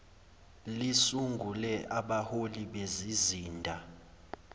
lisungule abahloli bezizinda